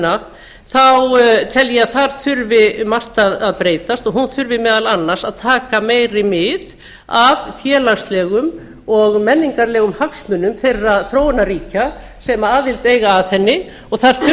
varðandi alþjóðaheimsviðskiptastofnunina tel ég að þar þurfi margt að breytast og hún þurfi meðal annars að taka meiri mið af félagslegum og menningarlegum hagsmunum þeirra þróunarríkja sem aðild eiga að henni og það þurfi að